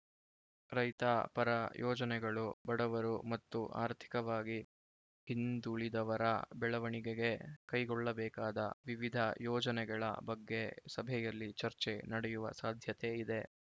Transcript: ರೈತ ಪರ ಯೋಜನೆಗಳು ಬಡವರು ಮತ್ತು ಆರ್ಥಿಕವಾಗಿ ಹಿಂದುಳಿದವರ ಬೆಳವಣಿಗೆಗೆ ಕೈಗೊಳ್ಳಬೇಕಾದ ವಿವಿಧ ಯೋಜನೆಗಳ ಬಗ್ಗೆ ಸಭೆಯಲ್ಲಿ ಚರ್ಚೆ ನಡೆಯುವ ಸಾಧ್ಯತೆ ಇದೆ